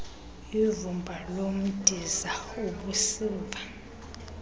ivumba lomdiza ubusiva